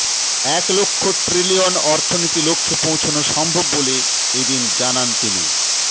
এক লক্ষ ট্রিলিয়ন অর্থনীতি লক্ষ্যে পৌঁছনো সম্ভব বলে এ দিন জানান তিনি